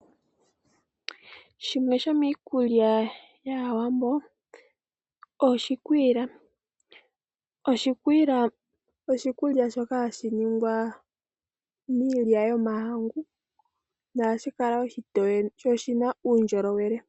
Shimwe shomiikulya yAawambo oshikwila. Oshikwila osho oshikulya shoka hashi ningwa miilya yomahangu nohashi kala oshitoye sho oshina uundjolowele.